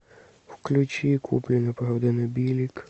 включи куплено продано билик